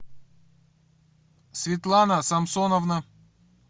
светлана самсоновна